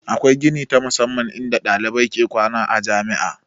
Akwai gini ta musamman in da ɗalibai ke kwana a jami'a